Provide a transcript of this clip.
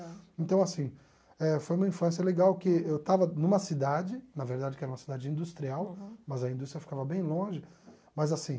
Então, assim, eh foi uma infância legal, que eu estava numa cidade, na verdade, que era uma cidade industrial, mas a indústria ficava bem longe, mas, assim...